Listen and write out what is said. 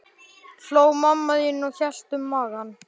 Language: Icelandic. hló mamma þín og hélt um magann.